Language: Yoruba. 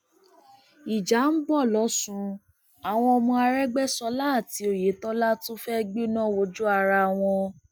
ìjà ń bọ lọsùn àwọn ọmọ arégbèsọlá àti oyetola tún fẹẹ gbẹná wojú ara wọn